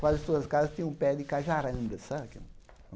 Quase todas as casas tinham um pé de cajaranda,